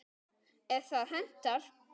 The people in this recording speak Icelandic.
ef það hentar!